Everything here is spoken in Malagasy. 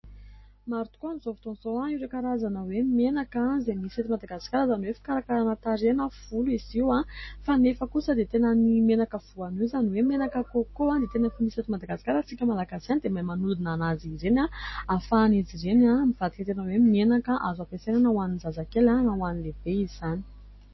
Maro tokoa aminy izao fotoana izao ireo karazana hoe menaka izay misy eto Madagasikara izany hoe fikarakarana tarehy na volo izy io, fa nefa kosa dia tena ny menaka voanio izany hoe menaka "Coco" dia tena fa misy eto Madagasikara isika Malagasy iany dia mahay manodina anazy ireny ahy afahany izy ireny ahy mivadika tena hoe menaka azo ampiasaina hoan'ny zazakely na hoan'ny lehibe izany.